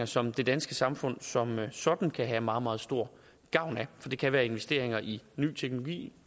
som det danske samfund som sådan kan have meget meget stor gavn af for det kan være investeringer i ny teknologi